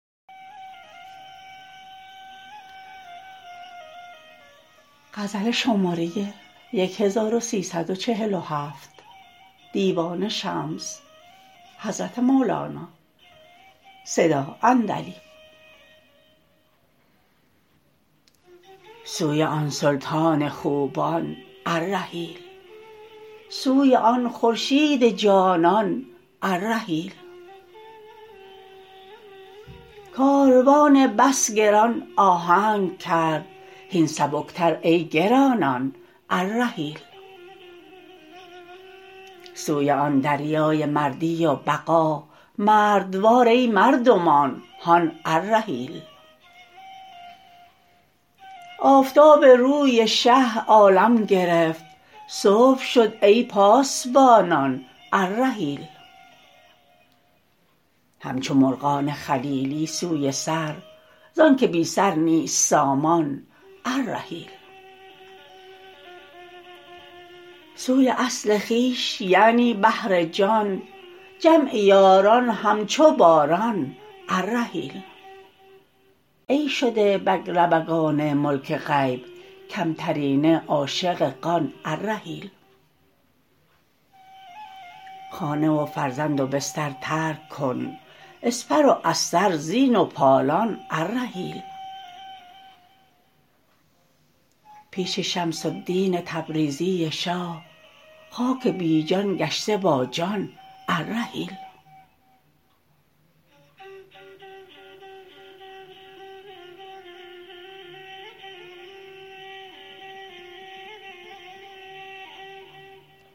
سوی آن سلطان خوبان الرحیل سوی آن خورشید جانان الرحیل کاروان بس گران آهنگ کرد هین سبکتر ای گرانان الرحیل سوی آن دریای مردی و بقا مردوار ای مردمان هان الرحیل آفتاب روی شه عالم گرفت صبح شد ای پاسبانان الرحیل همچو مرغان خلیلی سوی سر زانک بی سر نیست سامان الرحیل سوی اصل خویش یعنی بحر جان جمع یاران همچو باران الرحیل ای شده بگلربگان ملک غیب کمترینه عاشق قان الرحیل خانه و فرزند و بستر ترک کن اسپ و استر زین و پالان الرحیل پیش شمس الدین تبریزی شاه خاک بی جان گشته با جان الرحیل